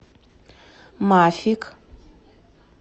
мафик